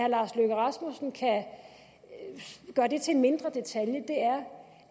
lars løkke rasmussen kan gøre det til en mindre detalje